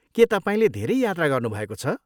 के तपाईँले धेरै यात्रा गर्नुभएको छ?